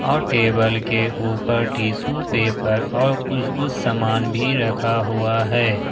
और टेबल के ऊपर टिशू पेपर और कुछ कुछ सामान भी रखा हुआ है।